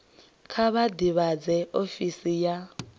kha vha ḓivhadze ofisi ya